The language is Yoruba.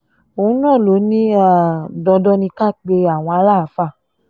òun náà ló ní um dandan ni ká pe àwọn aláàfáà